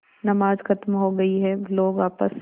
नमाज खत्म हो गई है लोग आपस